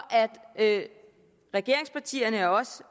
at regeringspartierne og os